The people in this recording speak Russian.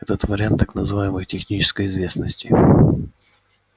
этот вариант так называемой технической известности